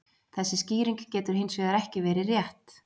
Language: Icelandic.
Þessi skýring getur hins vegar ekki verið rétt.